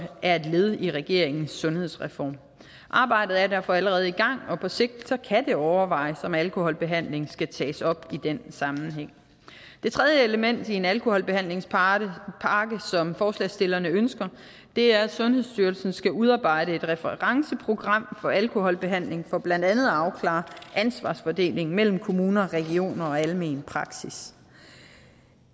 er et led i regeringens sundhedsreform arbejdet er derfor allerede i gang og på sigt kan det overvejes om alkoholbehandling skal tages op i den sammenhæng det tredje element i en alkoholbehandlingspakke som forslagsstillerne ønsker er at sundhedsstyrelsen skal udarbejde et referenceprogram for alkoholbehandling for blandt andet at afklare ansvarsfordelingen mellem kommuner regioner og almen praksis